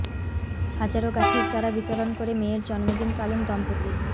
হাজারো গাছের চারা বিতরণ করে মেয়ের জন্মদিন পালন দম্পতির